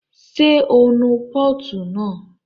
Ṣé o nu pọ́ọ̀tù náà?